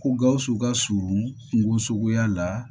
Ko gawusu ka surun kungosogoya la